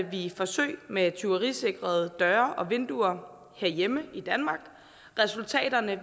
vi forsøg med tyverisikrede døre og vinduer herhjemme i danmark resultaterne